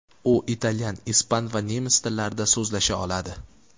U italyan, ispan va nemis tillarida so‘zlasha oladi.